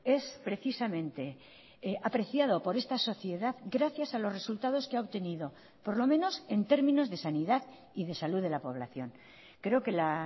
es precisamente apreciado por esta sociedad gracias a los resultados que ha obtenido por lo menos en términos de sanidad y de salud de la población creo que la